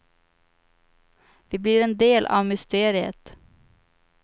Vi blir en del av mysteriet.